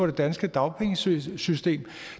det danske dagpengesystem